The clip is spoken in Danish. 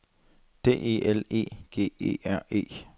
D E L E G E R E